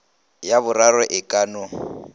ya boraro e ka no